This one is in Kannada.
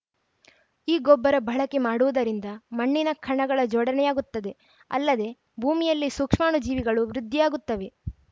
ಈ ಗೊಬ್ಬರ ಬಳಕೆ ಮಾಡುವುದರಿಂದ ಮಣ್ಣಿನ ಕಣಗಳ ಜೋಡಣೆಯಾಗುತ್ತದೆ ಅಲ್ಲದೆ ಭೂಮಿಯಲ್ಲಿ ಸೂಕ್ಷ್ಮಾಣು ಜೀವಿಗಳು ವೃದ್ಧಿಯಾಗುತ್ತವೆ